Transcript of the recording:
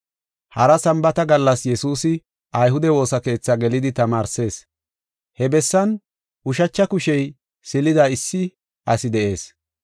Hara Sambaata gallas Yesuusi ayhude woosa keethi gelidi tamaarsees. He bessan ushacha kushey silida issi asi de7ees.